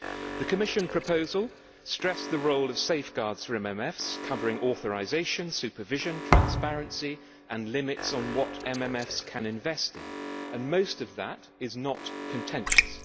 The Commission proposal stressed the role of safeguards for MMFs, covering authorisation, supervision, transparency and limits on what MMFs can invest in, and most of that is not contentious.